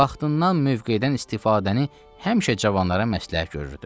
Vaxtından, mövqedən istifadəni həmişə cavanlara məsləhət görürdü.